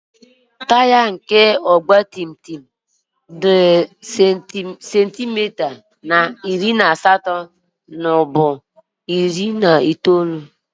Taya nke ọgba tum tum dị sentimita iri na asatọ ruo muo bu iri itoolu.